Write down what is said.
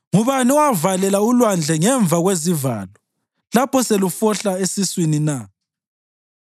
Ngubani owavalela ulwandle ngemva kwezivalo lapho selufohla esiswini na,